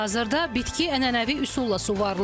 Hazırda bitki ənənəvi üsulla suvarılır.